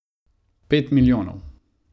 Pet milijonov.